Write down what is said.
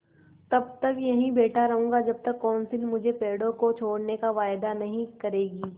तब तक यहीं बैठा रहूँगा जब तक कौंसिल मुझे पेड़ों को छोड़ने का वायदा नहीं करेगी